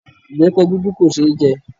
Ìbẹpẹ dúdú kò ṣe é jẹ